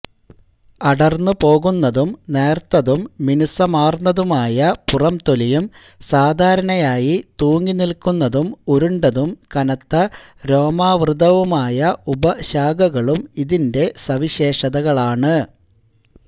അടർന്ന് പോകുന്നതും നേർത്തതും മിനുസമാർന്നതുമായ പുറംതൊലിയും സാധാരണയായി തൂങ്ങി നിൽക്കുന്നതും ഉരുണ്ടതും കനത്ത രോമാവൃതവുമായ ഉപശാഖകളും ഇതിന്റെ സവിശേഷതകളാണ്